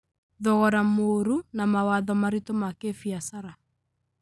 thogora mũũru, na mawatho maritũ ma kĩbiashara.